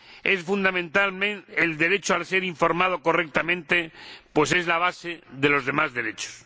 Es fundamental el derecho a ser informado correctamente, pues es la base de los demás derechos.